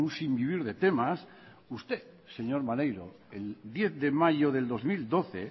sin vivir de temas usted señor maneiro el diez de mayo del dos mil doce